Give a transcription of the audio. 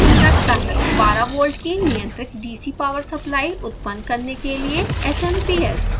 यह निम्न रखता है: 12 वोल्ट की नियंत्रित dc पॉवर सप्लाई उत्पन्न करने के लिए smps